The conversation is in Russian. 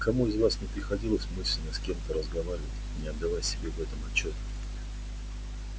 никому из вас не приходилось мысленно с кем-то разговаривать не отдавая себе в этом отчёта